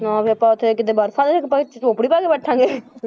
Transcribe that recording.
ਹਾਂ ਵੀ ਆਪਾਂ ਉੱਥੇ ਜਾ ਕੇ ਕਿਤੇ ਬਰਫ਼ਾਂ ਦੇ ਵਿੱਚ ਝੋਪੜੀ ਪਾ ਕੇ ਬੈਠਾਂਗੇ,